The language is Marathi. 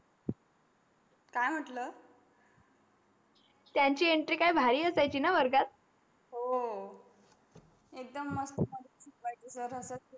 की मन्टल त्यांची entry काय भारी असायची न वर्गात हो एकदम मस्त.